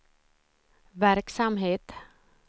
verksamhet